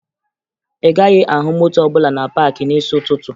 Ị gaghị ahụ moto ọbụla na paakị n'isi ụtụtụ